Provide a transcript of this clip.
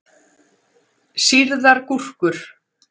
Sýrðar gúrkur.